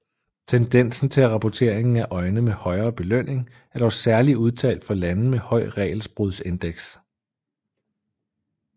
Tendensen til rapporteringen af øjne med højere belønning er dog særligt udtalt for lande med høj regelbrudsindeks